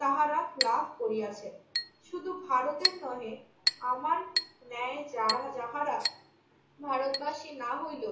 তাহারা লাভ করিয়াছে। শুধু ভারতের নহে আমার ন্যায় যারা~ যাহারা ভারতবাসী না হইল